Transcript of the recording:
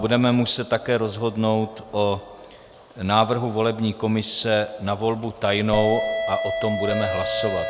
Budeme muset také rozhodnout o návrhu volební komise na volbu tajnou a o tom budeme hlasovat.